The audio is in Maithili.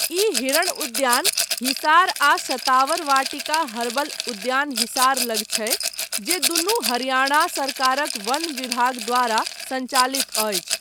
ई, हिरण उद्यान, हिसार आ शतावर वाटिका हर्बल उद्यान हिसार लग छै, जे दुनू हरियाणा सरकारक वन विभाग द्वारा संचालित अछि।